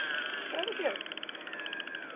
Operar do que?